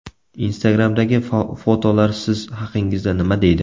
Instagram’dagi fotolar siz haqingizda nima deydi?.